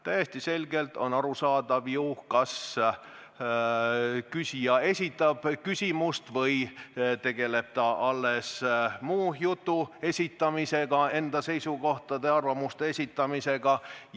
Täiesti selgelt on ju arusaadav, kas küsija esitab küsimust või tegeleb ta alles muu jutu esitamisega, enda seisukohtade-arvamuste esitamisega.